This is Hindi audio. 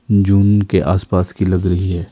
जून के आस पास की लग रही है।